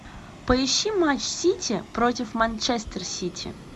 поищи матч сити против манчестер сити